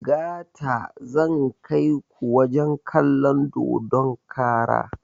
Gata zan kaiku wajen kalon dodon kara